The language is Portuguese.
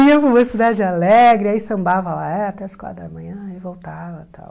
Ia para Mocidade alegre, aí sambava lá até as quatro da manhã e voltava tal.